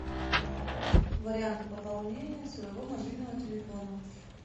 варианты пополнения своего мобильного телефона